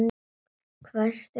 hvæsti Hugrún.